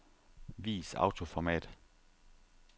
Vis autoformat.